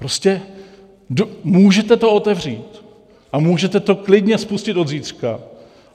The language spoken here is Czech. Prostě můžete to otevřít a můžete to klidně spustit od zítřka.